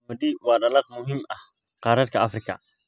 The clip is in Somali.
Qamadi waa dalag muhiim ah qaaradda Afrika.